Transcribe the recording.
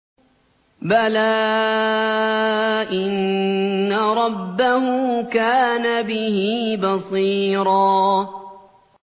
بَلَىٰ إِنَّ رَبَّهُ كَانَ بِهِ بَصِيرًا